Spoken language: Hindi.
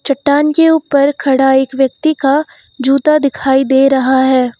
चट्टान के ऊपर खड़ा एक व्यक्ति का जूता दिखाई दे रहा है।